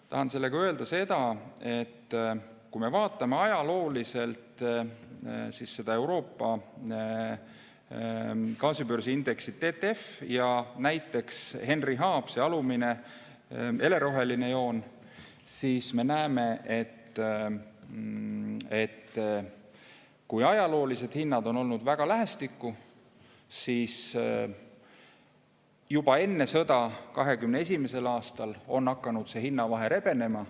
Ma tahan sellega öelda seda, et kui me vaatame ajalooliselt Euroopa gaasibörsi indeksit TTF ja näiteks Henry Hubi – alumine heleroheline joon –, siis me näeme, et kui ajalooliselt on hinnad olnud väga lähestikku, siis juba enne sõda, 2021. aastal on hakanud see hinnavahe rebenema.